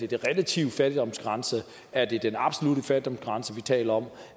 relative fattigdomsgrænse er det den absolutte fattigdomsgrænse vi taler om